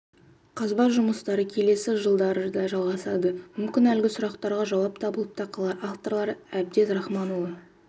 қазба жұмыстары келесі жылдары да жалғасады мүмкін әлгі сұрақтарға жауап табылып та қалар авторлары әбдез рахманұлы